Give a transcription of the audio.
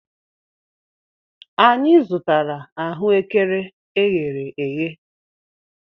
Anyị zụtara ahụekere eghere eghe.